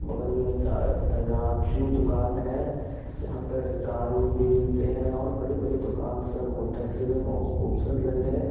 बगल में तराजू दुकान है यहां पर कार उर भी मिलते है और बड़े-बड़े दुकान सब होटल सब बहुत खूबसूरत लग रहे है।